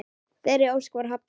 Þeirri ósk var hafnað.